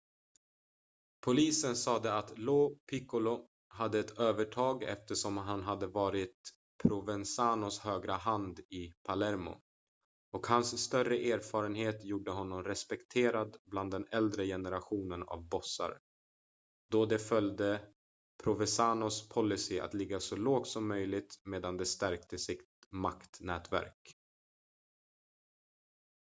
polisen sade att lo piccolo hade ett övertag eftersom han hade varit provenzanos högra hand i palermo och hans större erfarenhet gjorde honom respekterad bland den äldre generationen av bossar då de följde provenzanos policy att ligga så lågt som möjligt medan de stärkte sitt maktnätverk